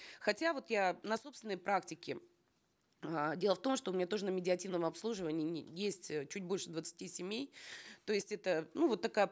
хотя вот я на собственной практике э дело в том что у меня тоже на медиативном обслуживании есть э чуть больше двадцати семей то есть это ну вот такая